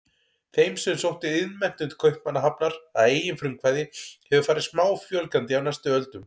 Þeim sem sóttu iðnmenntun til Kaupmannahafnar að eigin frumkvæði hefur farið smáfjölgandi á næstu öldum.